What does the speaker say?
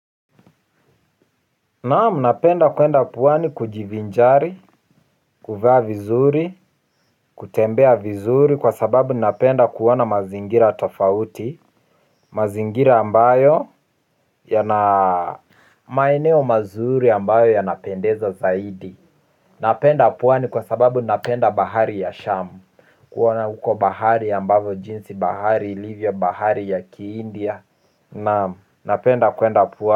Naamu napenda kwenda pwani kujivinjari, kuvaa vizuri, kutembea vizuri kwa sababu napenda kuona mazingira tofauti. Mazingira ambayo yana maeneo mazuri ambayo yanapendeza zaidi. Napenda pwani kwa sababu napenda bahari ya shamu. Kuona huko bahari ambavyo jinsi bahari ilivyo bahari ya kiindia. Naamu napenda kwenda puwani.